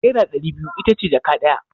Naira ɗari biyu ita ce jaka ɗaya.